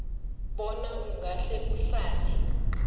bona ungahle uhlale